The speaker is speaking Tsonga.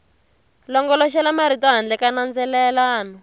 longoloxela marito handle ka nandzelelano